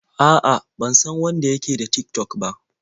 A'a, ban san wanda ya ke da Tik-tok ba.